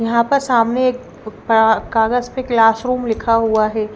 यहां पर सामने एक कागज पर क्लासरूम लिखा हुआ है।